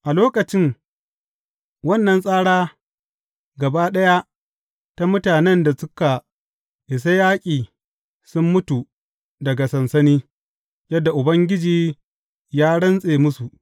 A lokacin, wannan tsara gaba ɗaya ta mutanen da suka isa yaƙi sun mutu daga sansani, yadda Ubangiji ya rantse musu.